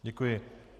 Děkuji.